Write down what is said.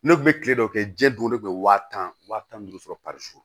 Ne kun bɛ kile dɔ kɛ jɛn don ne kun bɛ wa tan wa tan ni duuru sɔrɔ